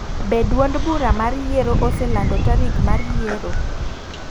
Be tuond bura mar yiero oselando tarik mar yiero?